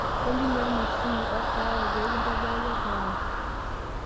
olly nnua emashini orkaawa pee kintobiraki orkaawa